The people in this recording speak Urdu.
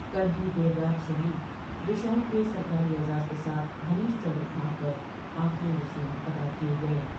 کل ہی دیر رات شہید ویشال کے سرکاری اعزاز کے ساتھ ہریش چندر گھاٹ پر آخری رسوم ادا کئے گئے ۔